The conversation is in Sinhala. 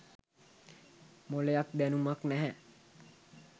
මොලයක් දැනුමක් නැහැ.